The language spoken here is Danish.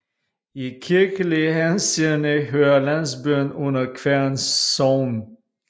I kirkelig henseende hører landsbyen under Kværn Sogn